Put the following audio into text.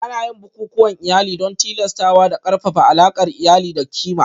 Ana yin bukukuwan iyali don tilastawa da ƙarfafa alaƙar iyali da ƙima